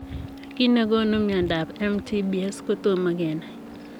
Kiit negonuu miondoop MTBS kotoma kenai.